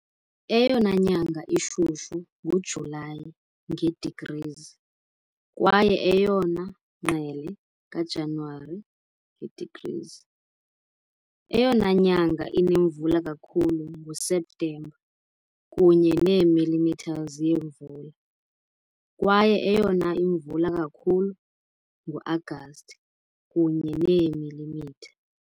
Eyona nyanga ishushu nguJulayi, nge-degrees, kwaye eyona ngqele kaJanuwari, yi-degrees. Eyona nyanga inemvula kakhulu nguSeptemba, kunye ne millimeters yemvula, kwaye eyona imvula kakhulu ngu-Agasti, kunye neemilimitha .